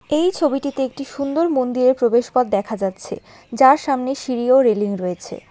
এই ছবিটিতে একটি সুন্দর মন্দিরের প্রবেশপথ দেখা যাচ্ছে যার সামনে সিঁড়ি ও রেলিং রয়েছে।